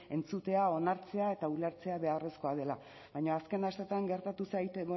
entzutea onartzea eta ulertzea beharrezkoa dela baina azken asteetan gertatu zait